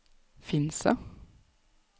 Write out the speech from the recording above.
Finse